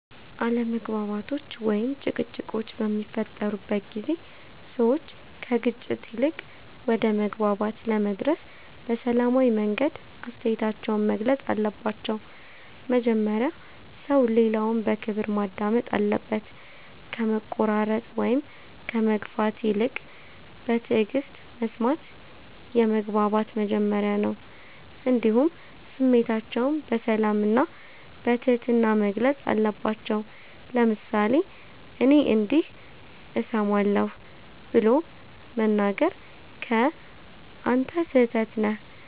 አለመግባባቶች ወይም ጭቅጭቆች በሚፈጠሩበት ጊዜ ሰዎች ከግጭት ይልቅ ወደ መግባባት ለመድረስ በሰላማዊ መንገድ አስተያየታቸውን መግለጽ አለባቸው። መጀመሪያ ሰው ሌላውን በክብር ማዳመጥ አለበት፣ ከመቆራረጥ ወይም ከመግፋት ይልቅ በትዕግስት መስማት የመግባባት መጀመሪያ ነው። እንዲሁም ስሜታቸውን በሰላም እና በትህትና መግለጽ አለባቸው፤ ለምሳሌ “እኔ እንዲህ እሰማለሁ” ብሎ መናገር ከ“አንተ ስህተት ነህ”